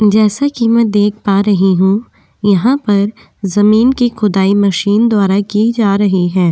जैसा कि मैं देख पा रही हूं यहां पर जमीन की खुदाई मशीनद्वारा की जा रही है।